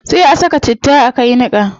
Sai a ka saka citta a kai niqa